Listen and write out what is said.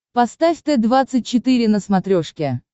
поставь т двадцать четыре на смотрешке